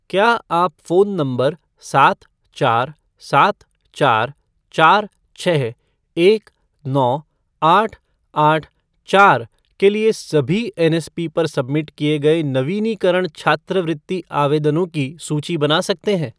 क्या आप phone number सात चार सात चार चार छः एक नौ आठ आठ चार के लिए सभी एनएसपी पर सबमिट किए गए नवीनीकरण छात्रवृत्ति आवेदनों की सूची बना सकते हैं ?